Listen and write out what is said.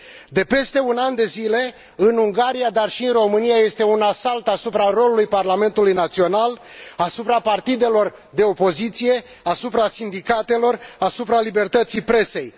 De peste un an de zile, în Ungaria, dar și în România, este un asalt asupra rolului parlamentului național, asupra partidelor de opoziție, asupra sindicatelor, asupra libertății presei.